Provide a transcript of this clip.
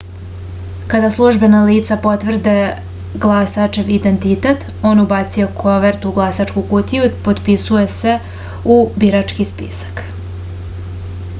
kada službena lica potvrde glasačev identitet on ubacuje kovertu u glasačku kutiju i potpisuje se u birački spisak